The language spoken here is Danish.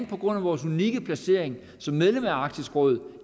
på grund af vores unikke placering kan som medlem af arktisk råd